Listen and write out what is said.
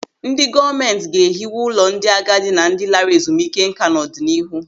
Ndị gọọmenti ga-ehiwe ụlọ ndị agadi na ndị lara ezumike nká n'ọdịnihu.